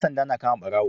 Yan sanda na kama barawo